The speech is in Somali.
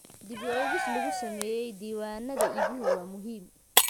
Dib u eegis lagu sameeyo diiwaanada iibiyuhu waa muhiim.